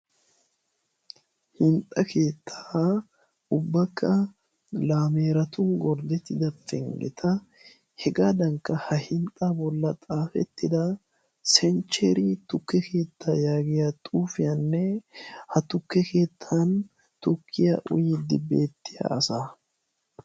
Hinxxa keettaa ubbakka laameeratun gorddettida penggeta hegaadankka ha hinxxa bolla xaafettida senchcheri tukke keettaa yaagiya xuufiyaanne ha tukke keettan tukkiya uyyiddi beettiya asa.